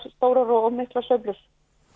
stórar og miklar sveiflur